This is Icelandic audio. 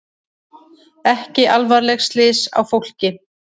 Ekki alvarleg slys á fólki